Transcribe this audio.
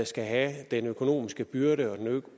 skal have den økonomiske byrde og den